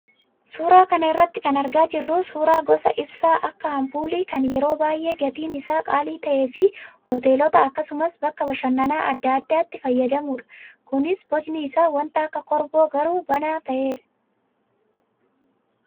Suuraa kana irraa kan argaa jirru suuraa gosa ibsaa akka ampuulii kan yeroo baay'ee gatiin isaa qaalii ta'ee fi hoteelota akkasumas bakka bashannanaa adda addaatti fayyadamnuda. Kunis bocni isaa wanta akka korboo garuu banaa ta'edha.